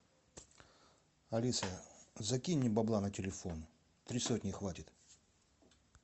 алиса закинь мне бабла на телефон три сотни хватит